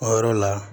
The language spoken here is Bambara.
O yɔrɔ la